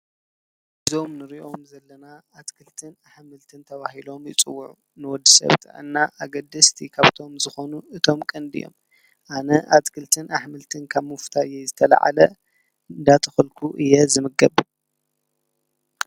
እዞም ንሪኦም ዘለና ኣትክልትን ኣሕምልትን ተብሂሎም ይፅውዑ ንወዲ ሰብ ጥዕና ኣገድስቲ ካብቶም ዝኾኑ እቶም ቀንዲ እዮም፡፡ ኣነ ኣትክልትን ኣሕምልትን ካብ ምፍታወይ ዝተለዓለ እንዳተኸልኩ እየ ዝምገብ፡፡